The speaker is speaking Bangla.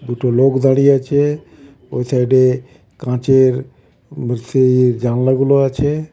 দুটো লোক দাঁড়িয়ে আছে ওই সাইডে কাচের জানলাগুলো আছে.